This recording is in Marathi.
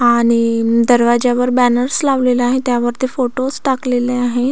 आणि दरवाजा वर बॅंनर्स लावलेला आहे त्या वरती फोटोज टाकलेले आहेत.